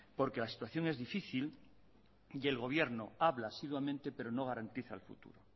porque la situación es difícil y el gobierno habla asiduamente pero no garantiza el futuro